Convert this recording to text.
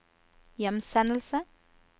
hjemsendelse